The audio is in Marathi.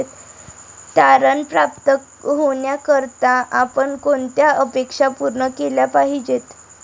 तारण प्राप्त होण्याकरता आपण कोणत्या अपेक्षा पूर्ण केल्या पाहिजेत?